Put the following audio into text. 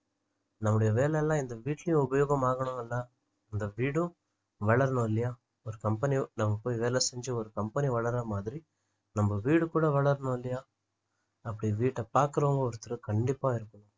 நம்மளுடைய வேலை எல்லாம் இந்த வீட்டுலயும் உபயோகம் ஆகணும்ல இந்த வீடும் வளரணும் இல்லையா ஒரு company நம்ம போய் வேலை செஞ்சி ஒரு company வளர்ற மாதிரி நம்ம வீடு கூட வளரணும் இல்லையா அப்படி வீட்ட பாக்குறவங்க ஒருத்தர் கண்டிப்பா இருக்கணும்